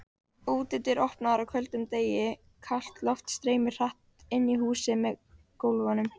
Útidyr opnaðar á köldum degi, kalt loft streymir hratt inn í húsið með gólfum.